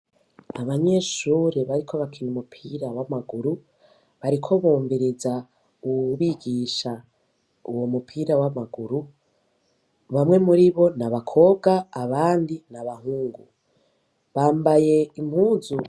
Abanyeshure bariko barakina umupira w'amaguru, bariko bumviriza uwubigisha uwubigisha uwo mupira w'amaguru. Bamwe muribo n'abakobwa abandi b'abahungu. Bambaye impuzu.